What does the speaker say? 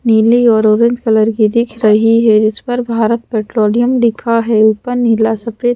नीली और orange colour की दिख रही है जिस पर भारत पेट्रोलियम लिखा है ऊपर नीला सफेद--